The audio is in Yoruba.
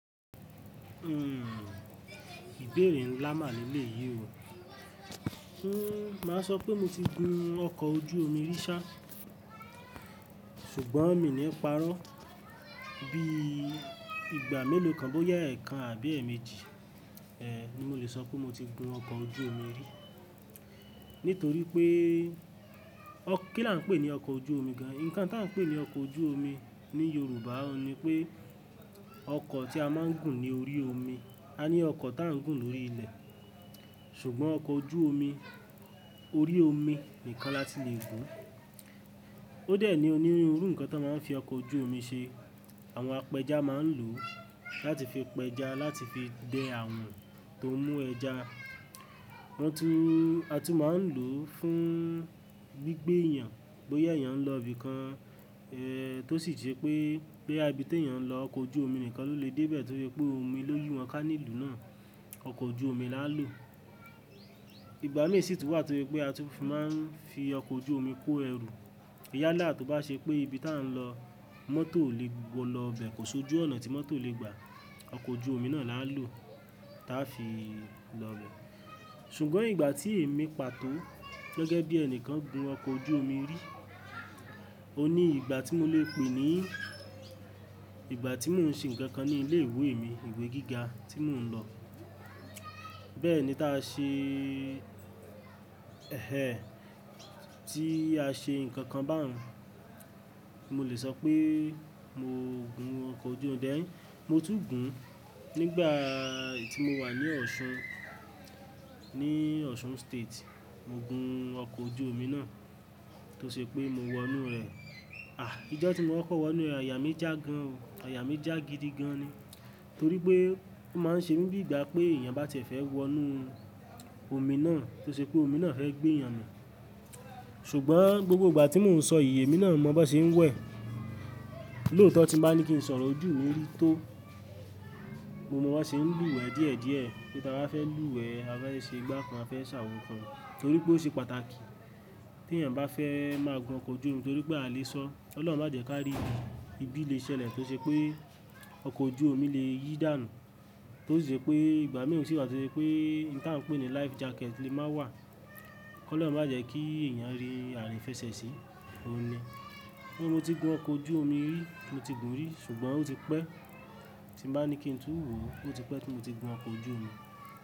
Hmm ìbéèrè ńlá màà lélé yìí o. Hmm máa sọ pé mo ti gun ọkọ̀ ojú omi rí sá, ṣùgbọ́n mi ò ní parọ́. Bí ìgbà mélòó kan bó yẹ ẹ̀ẹ̀kan àbí ẹ̀ẹ̀méjì, eh ni mo lè sọ pé mo ti gun ọkọ̀ ojú omi rí. Nítorí pé kí la ń pè ní ọkọ̀ ojú omi gan-an? Ǹkan táa ń pè ní ọkọ ojú omi ní Yorùbá ni pé ọkọ̀ tí a máa ń gùn ní orí omi. A ní ọkọ̀ táa ń gùn lórí ilẹ̀, ṣùgbọ́n ọkọ ojú omi, orí omi nìkan láti lè gùn. Ó dẹ̀ ní onírúurú ǹkan táa máa ń fi ọkọ̀ ojú omi ṣe. Àwọn apẹja máa ń lò ó láti fi pẹja, láti fi dẹ àwọn tó mú ẹja. Wọ́n tún, a tún máa ń lò ó fún gbí gbé èèyàn, bóyá èèyàn ń lọ ibi kan, eh tó sì ṣe pé pé ibi tí èèyàn ń lọ ọkọ̀ ojú omi nìkan ló lè dé bẹ̀ torí pé omi ló yìì wọ́n kání ìlú náà. Ọkọ̀ ojú omi la ń lò. Ìgbà mìí sì tún wà torí pé a tún máa ń fi ọkọ̀ ojú omi kó ẹrù. Ìyálà tó bá ṣe pé ibi tá a ń lọ mọ́tò ò lè lọ bẹ̀, kò sojú ọ̀nà tí mọ́tò lè gbà, ọkọ̀ ojú omi náà laa lò, táa fi lọ bẹ̀. Ṣùgbọ́n ìgbà tí èmi pàtó gẹ́gẹ́ bí ẹnìkan gun ọkọ̀ ojú omi rí, o ní ìgbà tí mo lè pè ní ìgbà tí mò ń ṣe nǹkan kan ní ilé ìwé mi, ìwé gíga tí mò ń lọ. Bẹ́ẹ̀ ni táa ṣe ẹhẹh ẹ, tí a ṣe nǹkan kan bá wọn. Mo lè sọ pé mo gun ọkọ̀ ojú omi, dén mo tún gùn ún nígbà tí mo wà ní Ọ̀ṣun, ní Osun State. Mo gun ọkọ̀ ojú omi náà tó ṣe pé mo wọnú rẹ̀. Àh! Ìjọ́ tí mo ọkọ̀ wọnú rẹ̀ àyà mí já gan o. Àyà mí já gidi gan ni. Torí pé ó máa ń ṣe mí bí ìgbà pé èèyàn bá tie fẹ́ wọnú omi náà tó ṣe pé omi náà fẹ́ gbé èyàn mì. Ṣùgbọ́n gbogbo ìgbà tí mò ń sọ iyè emí náà mọ bó n ṣe ń wẹ̀. Lóòótọ́ tí máa ní kí n sọ̀rọ̀ ojú mi rí tó, mo mọ bó ṣe ń lùwẹ̀ díẹ̀ díẹ̀, bí táa bá fẹ́ lùwẹ̀, a bá ṣe igbá kan, a fẹ́ ṣàwo kan. Torí pé ó ṣe pàtàkì tí èèyàn bá fẹ́ máa gun ọkọ̀ ojú omi torí pé a lè ṣọ Ọlọ́run má jẹ ká rí bí ìbí lè ṣẹlẹ̀ kí n ṣe pé ọkọ̀ ojú omi lè yí dànù. Tó sì ṣe pé ìgbà mìí o sì wà tí pé ǹ tí a ń pè ní life jacket lè má wà. Kọ́ lọ̀run má jẹ kí èèyàn rí àrìífẹ̀sẹ̀ sí, òun ni. Níbo mo ti gun ọkọ̀ ojú omi rí? Mo ti gun rí ṣùgbọ́n ó ti pẹ́ tí màá ní kí n tún wò ó, ó ti pẹ́ tí mo ti gun ọkọ̀ ojú omi.